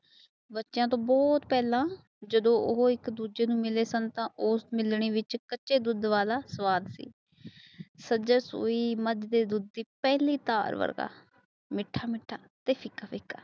ਬਚੋਂ ਸੇ ਬਹਤ ਪਹਿਲ ਜਦੋ ਉਹ ਇਕ ਦੂਜੇ ਨੂੰ ਮਿਲੇ ਸਨ ਤਾਂ ਉਸ ਮਿਲਣੀ ਵਿੱਚ ਕੱਚੇ ਦੁੱਧ ਵਾਲਾ ਸਵਾਦ ਸਾਚੇ ਸੋਈ ਮਾਜ ਦੀ ਪਹਿਲੀ ਥਾਰ ਵਰਗਾ ਮੀਠਾ ਮੀਠਾ ਤੇ ਫਿਕਾ ਫਿਕਾ